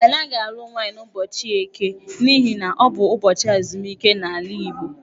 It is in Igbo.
A naghị alụ nwaanyị n'ụbọchị Eke n'ihi na, ọ bụ ubọchị ezumike n'ala Igbo.